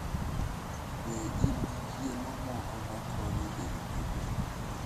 Be in gi chiemo moko makonyo e rito del?